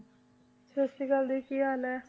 ਸਤਿ ਸ੍ਰੀ ਅਕਾਲ ਜੀ ਕੀ ਹਾਲ ਹੈ?